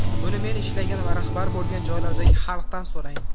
Buni men ishlagan va rahbar bo‘lgan joylardagi halqdan so‘rang!